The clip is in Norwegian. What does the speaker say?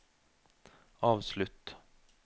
avslutt